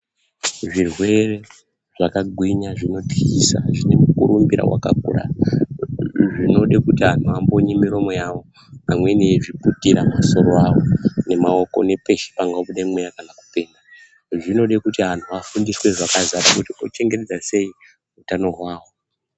Zvirwere zvakagwinya zvinotyisa zvine mukurumbira wakakura zvinode kuti anhu ambonye miromo yawo amweni eizviputira misoro yawo nemaoko nepeshe pangobude mweya zvinode kuti anhu afundiswe zvakadzara kuti tochengetedza sei utano hwawo.